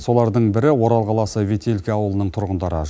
солардың бірі орал қаласы ветелки ауылының тұрғындары